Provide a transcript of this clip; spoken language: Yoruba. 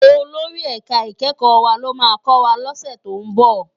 Ólórì èká ikèékò wá ló má kòwá lòsè tó n bò